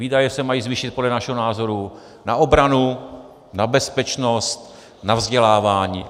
Výdaje se mají zvýšit podle našeho názoru na obranu, na bezpečnost, na vzdělávání.